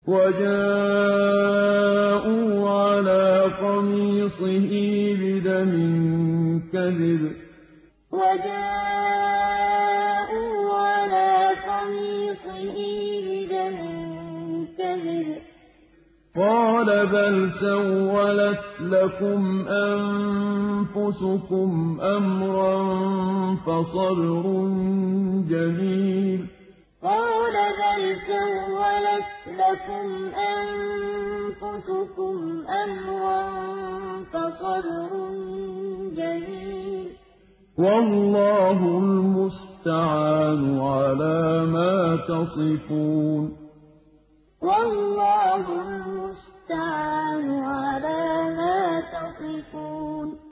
وَجَاءُوا عَلَىٰ قَمِيصِهِ بِدَمٍ كَذِبٍ ۚ قَالَ بَلْ سَوَّلَتْ لَكُمْ أَنفُسُكُمْ أَمْرًا ۖ فَصَبْرٌ جَمِيلٌ ۖ وَاللَّهُ الْمُسْتَعَانُ عَلَىٰ مَا تَصِفُونَ وَجَاءُوا عَلَىٰ قَمِيصِهِ بِدَمٍ كَذِبٍ ۚ قَالَ بَلْ سَوَّلَتْ لَكُمْ أَنفُسُكُمْ أَمْرًا ۖ فَصَبْرٌ جَمِيلٌ ۖ وَاللَّهُ الْمُسْتَعَانُ عَلَىٰ مَا تَصِفُونَ